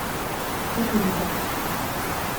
Kot riba.